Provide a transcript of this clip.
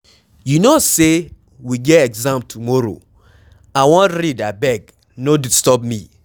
You no say we get exam tomorrow, I wan read abeg no disturb me.